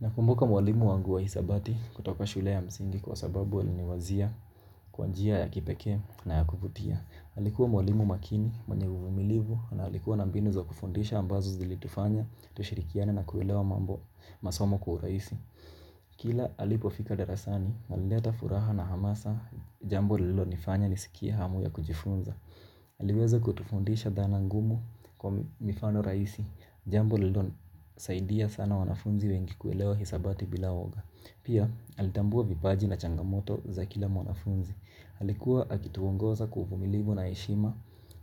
Nakumbuka mwalimu wangu wa hisabati kutoka shule ya msingi kwa sababu aliniwazia kwa njia ya kipekee na yakuvutia. Alikuwa mwalimu makini, mwenye uvumilivu na alikuwa na mbinu za kufundisha ambazo zilitufanya tushirikian na kuelewa mambo, masomo kwa urahisi. Kila alipofika darasani alileta furaha na hamasa jambo lilonifanya nisikie hamu ya kujifunza. Aliweza kutufundisha dhana ngumu kwa mifano rahisi. Jambo lilosaidia sana wanafunzi wengi kuelewa hisabati bila uoga. Pia alitambua vipaji na changamoto za kila mwanafunzi. Alikuwa akituongoza kwa uvumilivu na heshima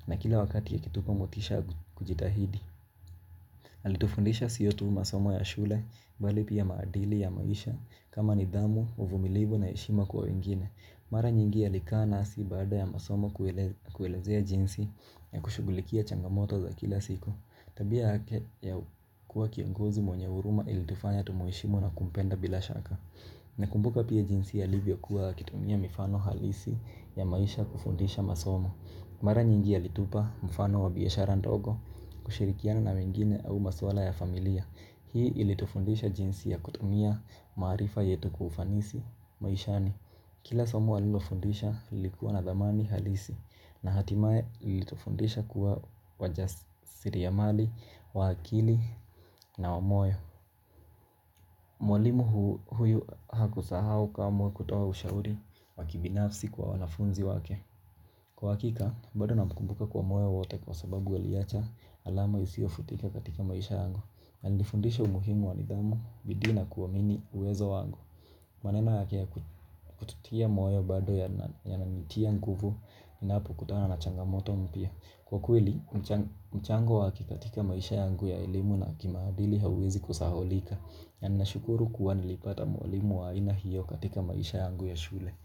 na kila wakati akitupa motisha ya kujitahidi. Alitufundisha sio tu masomo ya shule bali pia maadili ya maisha kama nidhamu uvumilibu na heshima kwa wengine. Mara nyingi alikaa nasi baada ya masomo kuelezea jinsi ya kushugulikia changamoto za kila siku. Tabia yake ya kuwa kiongozi mwenye huruma ilitufanya tumheshimu na kumpenda bila shaka. Nakumbuka pia jinsi alivyokuwa akitumia mifano halisi ya maisha kufundisha masomo. Mara nyingi alitupa mfano wa biashara ndogo kushirikiana na wengine au maswala ya familia. Hii ilitufundisha jinsi ya kutumia maarifa yetu kwa ufanisi maishani. Kila somo alilofundisha lilikuwa na thamani halisi na hatimaye lilitufundisha kuwa wajasiriamali wa akili na wa moyo. Mwalimu huyu hakusahau kamwe kutoa ushauri wa kibinafsi kwa wanafunzi wake. Kwa hakika, bado namkumbuka kwa moyo wote kwa sababu aliacha alama isiyofutika katika maisha yangu. Alinifundisha umuhimu wa nidhamu bidii na kuamini uwezo wangu. Maneno yake yakututia moyo bado yananitia nguvu niinapokutana na changamoto mpya. Kwa kweli mchango wake katika maisha yangu ya elimu na kimaadili hauwezi kusahaulika. Na ninashukuru kuwavnilipata mwalimu wa aina hiyo katika maisha yangu ya shule.